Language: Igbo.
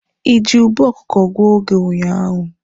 Ị ji ube oke ọkụkụ gụọ oge ụnyaahụ?